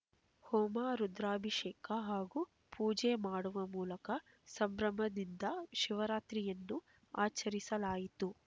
ಹೋಮ ರುದ್ರಾಭಿಷೇಕ ಹಾಗೂ ಪೂಜೆ ಮಾಡುವ ಮೂಲಕ ಸಂಭ್ರಮದಿಂದ ಶಿವರಾತ್ರಿಯನ್ನು ಆಚರಿಸಲಾಯಿತು